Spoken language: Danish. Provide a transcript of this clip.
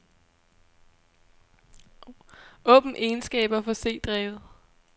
Åbn egenskaber for c-drevet.